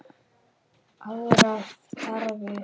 Aðrar þarfir.